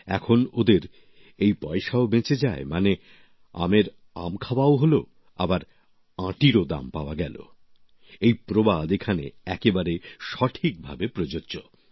এখন ওদের এই পয়সাও বেঁচে যায় মানে আমের আম খাওয়াও হলো আবার আঁটিরও দাম পাওয়া গেল এই প্রবাদ এখানে একেবারে সঠিক ভাবে প্রযোজ্য